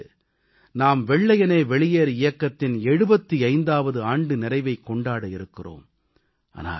இந்த ஆண்டு நாம் வெள்ளையனே வெளியேறு இயக்கத்தின் 75ஆவது ஆண்டு நிறைவைக் கொண்டாட இருக்கிறோம்